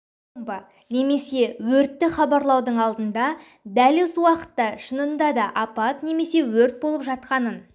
бомба немесе өртті хабарлаудың алдында дәл осы уақытта шынында да апат немесе өрт болып жатқанын